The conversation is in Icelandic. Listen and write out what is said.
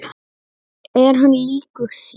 Er hann líkur þér?